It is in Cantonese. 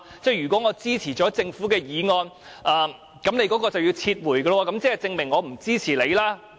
如果我支持政府的修正案，你便要撤回修正案，那豈不是說我不支持你？